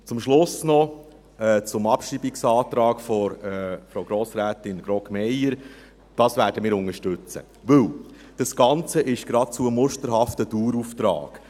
Zum Schluss noch zum Abschreibungsantrag von Frau Grossrätin Grogg-Meyer: Wir werden ihn unterstützen, denn das Ganze ist geradezu musterhaft ein Dauerauftrag.